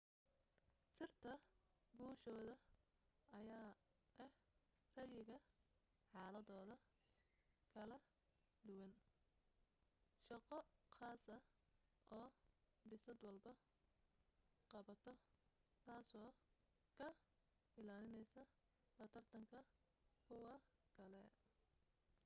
sirta guushoda ayaa ah rayiga xaladooda kala duwan shaqo qaasa oo bisad walbo qabato taaso ka ilaalineysa la tartanka kuwa kale